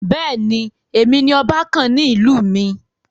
Bẹ́ẹ̀ni, èmi ni ọba kàn ní ìlú mi.